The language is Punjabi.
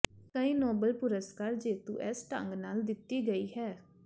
ਕਈ ਨੋਬਲ ਪੁਰਸਕਾਰ ਜੇਤੂ ਇਸ ਢੰਗ ਨਾਲ ਦਿੱਤੀ ਗਈ ਹੈ